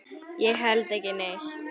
Ég held ekki neitt.